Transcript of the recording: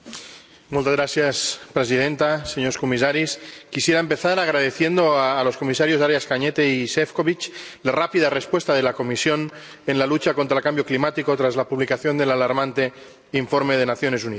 Señora presidenta, señores comisarios, quisiera empezar agradeciendo a los comisarios Arias Cañete y Šefčovič la rápida respuesta de la Comisión en la lucha contra el cambio climático tras la publicación del alarmante informe de las Naciones Unidas.